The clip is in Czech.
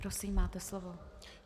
Prosím, máte slovo.